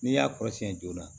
N'i y'a kɔrɔsiyɛn joona